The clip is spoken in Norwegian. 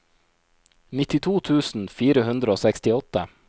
nittito tusen fire hundre og sekstiåtte